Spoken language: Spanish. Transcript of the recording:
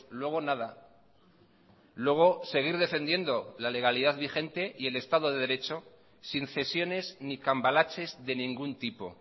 luego nada luego seguir defendiendo la legalidad vigente y el estado de derecho sin cesiones ni cambalaches de ningún tipo